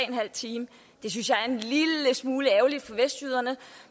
en halv time det synes jeg er en lille smule ærgerligt for vestjyderne